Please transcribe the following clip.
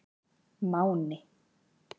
Máni